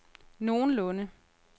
nogenlunde